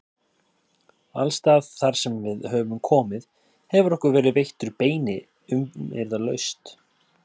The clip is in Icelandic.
Alstaðar þarsem við höfum komið hefur okkur verið veittur beini umyrðalaust.